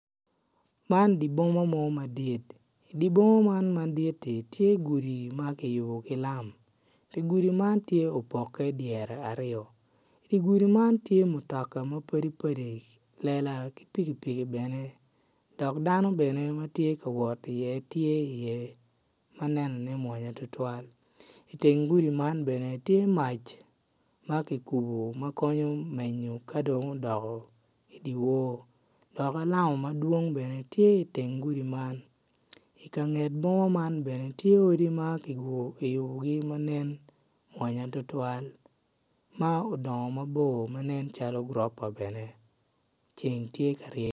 Man dye bima mo madit dye boma man madit-ti tye gudi ma kiyubo ki lam dye gudi man tye opoke dyere aryo dye gudi man tye mutoka mapadipadi lela ki pikipiki bene dok dano bene ma tye ka wot iye tye iye ma nenone mwonya tutwal iteng gudi man bene tye mac ma kikubo ma konyo menyo ka dong odoko idye wor dok alama ma dwong bene tye iteng gudi man ikanget boma man bene tye odi ma kiyubogi man nen mwonya tutwal ma odongo mabor ma nen calo gurofa bene ceng tye ka ryeny